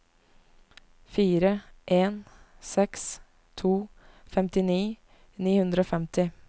fire en seks to femtini ni hundre og femti